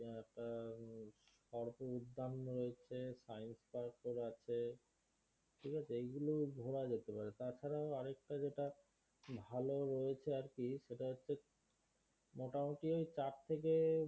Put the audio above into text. একটা সর্প উদ্যান রয়েছে science park ও আছে এইগুলো ঘোড়া যেতে পারে তাছাড়াও আরেকটা যেটা ভালো রয়েছে আর কি সেটা হচ্ছে মোটামোটি ওই চার থেকে